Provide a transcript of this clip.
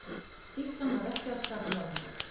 Skýrslan var ekki að skapi ráðherra